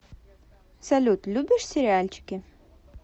салют любишь сериальчики